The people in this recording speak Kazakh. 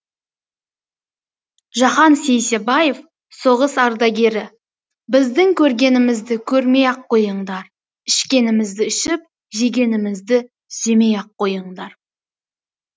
жахан сейсебаев соғыс ардагері біздің көргенімізді көрмей ақ қойыңдар ішкенімізді ішіп жегенімізді жемей ақ қойыңдар